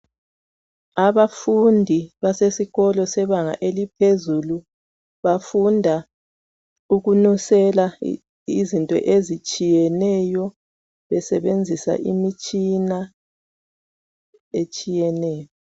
abafundi basesikolweni sebanga laphezulu bafunda ukunusela izinto ezitshiyeneyo besebenzisa imitshina etshiyeneyo